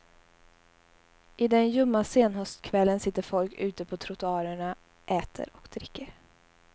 I den ljumma senhöstkvällen sitter folk ute på trottoarerna, äter och dricker.